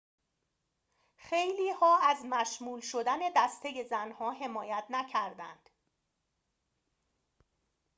خیلی‌ها از مشمول شدن دسته زن‌ها حمایت نکردند